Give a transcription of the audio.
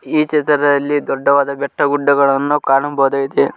ಈ ಚಿತ್ರದಲ್ಲಿ ದೊಡ್ಡವಾದ ಬೆಟ್ಟ ಗುಡ್ಡಗಳನ್ನು ಕಾಣಬಹುದಾಗಿದೆ.